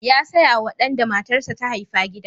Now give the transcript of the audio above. Ya saya wa ɗan da matarsa ta haifa gida.